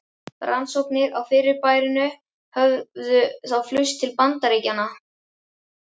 Rannsóknir á fyrirbærinu höfðu þá flust til Bandaríkjanna.